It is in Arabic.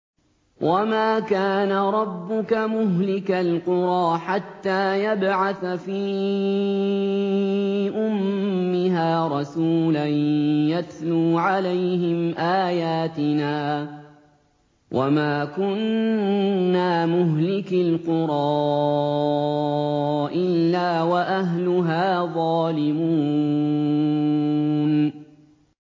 وَمَا كَانَ رَبُّكَ مُهْلِكَ الْقُرَىٰ حَتَّىٰ يَبْعَثَ فِي أُمِّهَا رَسُولًا يَتْلُو عَلَيْهِمْ آيَاتِنَا ۚ وَمَا كُنَّا مُهْلِكِي الْقُرَىٰ إِلَّا وَأَهْلُهَا ظَالِمُونَ